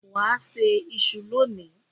Wà á se iṣu lónìí.